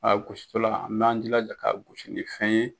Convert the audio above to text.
A gositɔla an b'a jilaja ka gosi ni fɛn ye